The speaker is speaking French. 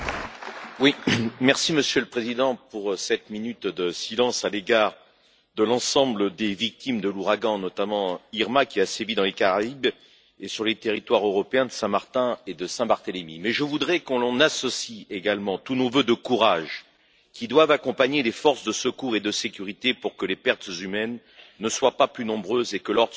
Monsieur le Président, merci pour cette minute de silence à l'égard de l'ensemble des victimes des ouragans, notamment d'Irma, qui ont sévi dans les Caraïbes et sur les territoires européens de Saint Martin et de Saint Barthélemy. Mais je voudrais que l'on y associe également tous nos vœux de courage, qui doivent accompagner les forces de secours et de sécurité, pour que les pertes humaines ne soient pas plus nombreuses et que l'ordre soit rétabli rapidement.